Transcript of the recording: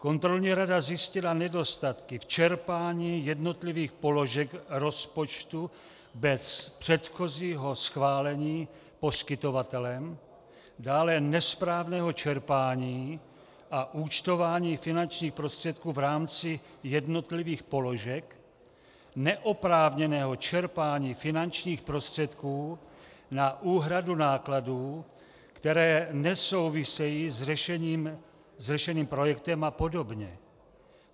Kontrolní rada zjistila nedostatky v čerpání jednotlivých položek rozpočtu bez předchozího schválení poskytovatelem, dále nesprávné čerpání a účtování finančních prostředků v rámci jednotlivých položek, neoprávněné čerpání finančních prostředků na úhradu nákladů, které nesouvisejí s řešeným projektem a podobně.